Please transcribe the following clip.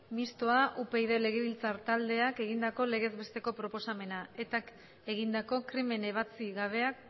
mistoa upyd legebiltza taldeak egindako legez besteko proposamena etak egindako krimen ebatzi gabeak